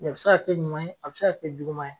a bɛ se ka kɛ ɲuman ye, a bɛ se ka kɛ juguman ye.